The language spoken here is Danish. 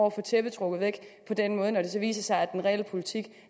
at få tæppet trukket væk på den måde når det så viser sig at den reelle politik